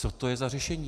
Co to je za řešení?